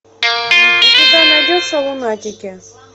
у тебя найдется лунатики